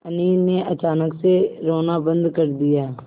अनिल ने अचानक से रोना बंद कर दिया